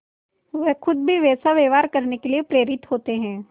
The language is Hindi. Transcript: वह खुद भी वैसा व्यवहार करने के लिए प्रेरित होते हैं